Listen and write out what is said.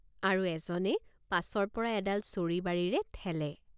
আৰু এজনে পাছৰপৰা এডাল চৰিবাৰিৰে ঠেলে।